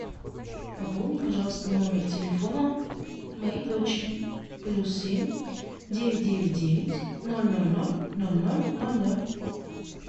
пополни пожалуйста номер телефона моей дочери плюс семь девять девять девять ноль ноль ноль ноль ноль ноль ноль